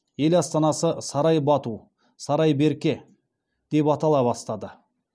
ел астанасы сарай бату сарай берке деп атала бастады